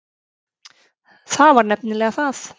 Það var nefnilega það.